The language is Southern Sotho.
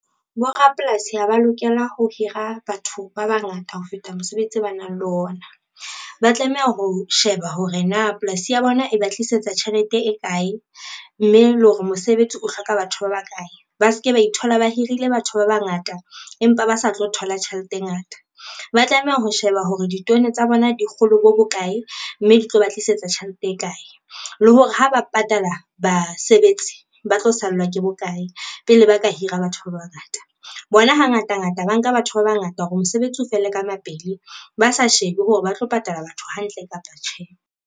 Borapolasi ha ba lokela ho hira batho ba bangata ho feta mosebetsi o ba nang le ona, ba tlameha ho sheba hore na polasi ya bona e ba tlisetsa tjhelete e kae, mme le hore mosebetsi o hloka batho ba bakae. Ba se ke ba ithola ba hirile batho ba bangata empa ba sa tlo thola tjhelete e ngata, ba tlameha ho sheba hore ditono tsa bona di kgolo bo bokae, mme di tlo ba tlisetsa tjhelete e kae, le hore ha ba patala basebetsi ba tlo sallwa ke bokae pele ba ka hira batho ba bangata. Bona hangata ngata ba nka batho ba bangata, hore mosebetsi o fele ka mapele ba sa shebe hore ba tlo patala batho hantle kapa tjhe.